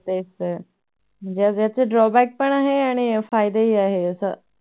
तेच तर याचे Drawback पण आहे आणि फायदेही आहे असं